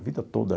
A vida toda.